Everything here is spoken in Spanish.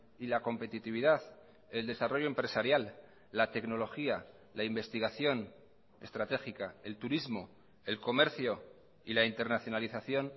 y la competitividad el desarrollo empresarial la tecnología la investigación estratégica el turismo el comercio y la internacionalización